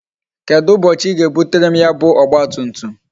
Kedụ ụbọchị I ga ebutere m ya bu ọgba tum tum?